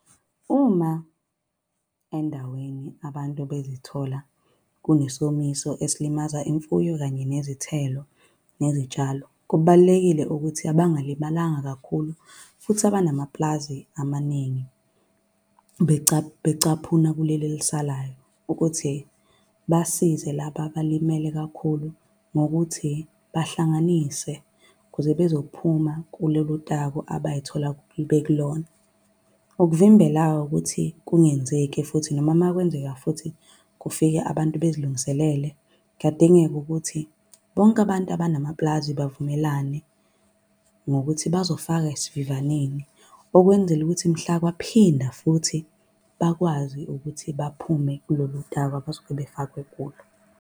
Uma endaweni abantu bezithola kunesomiso esilimaza imfuyo kanye nezithelo nezitshalo, Kubalulekile ukuthi abangalimalanga kakhulu futhi abanamapulazi amaningi becaphuna kuleli elisalayo, ukuthi basize laba abalimele kakhulu ngokuthi bahlanganise ukuze bezophuma kulolu taku abayithola bekulona. Ukuvimbela-ke ukuthi kungenzeki futhi noma makwenzeka futhi kufike abantu bezilungiselele. Kuyadingeka ukuthi bonke abantu abanamapulazi bavumelane ngokuthi bazofaka esivivaneni, okwenzela ukuthi mhla kwaphinda futhi bakwazi ukuthi baphume kulolu taku abazobe befakwe kulo.